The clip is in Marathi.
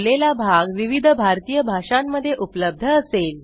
बोललेला भाग विविध भारतीय भाषांमध्ये उपलब्ध असेल